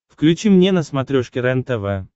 включи мне на смотрешке рентв